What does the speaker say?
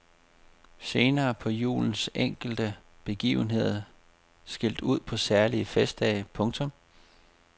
Senere blev julens enkelte begivenheder skilt ud på særlige festdage. punktum